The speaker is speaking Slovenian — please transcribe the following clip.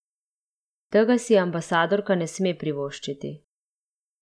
Tega si ambasadorka ne sme privoščiti.